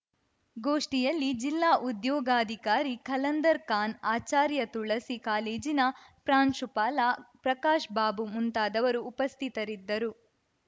ಗೋಷ್ಠಿಯಲ್ಲಿ ಜಿಲ್ಲಾ ಉದ್ಯೋಗಾಧಿಕಾರಿ ಖಲಂದರ್‌ ಖಾನ್‌ ಆಚಾರ್ಯ ತುಳಸಿ ಕಾಲೇಜಿನ ಪ್ರಾಂಶುಪಾಲ ಪ್ರಕಾಶ್‌ ಬಾಬು ಮುಂತಾದವರು ಉಪಸ್ಥಿತರಿದ್ದರು